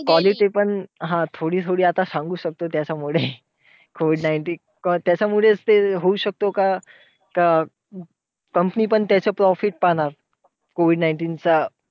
Quality पण हा थोडी थोडी आता सांगू शकतो त्याच्यामुळे. COVID nineteen त्याच्यामुळेच ते होऊ शकतो का का company पण त्याचं profit पाहणार. COVID nineteen चा.